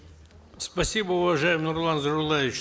спасибо уважаемый нурлан зайроллаевич